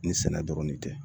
Ni sɛnɛ dɔrɔn de tɛ